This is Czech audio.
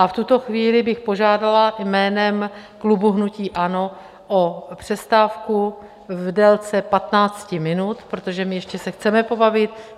A v tuto chvíli bych požádala jménem klubu hnutí ANO o přestávku v délce 15 minut, protože my se ještě chceme pobavit.